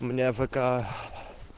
у меня вк